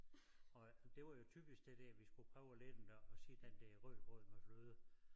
Og det var jo typisk det der vi skulle prøve at lære dem der at sige den der rødgrød med fløde